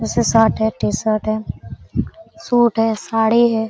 उसे शर्ट है T shirt है सूट है साड़ी है।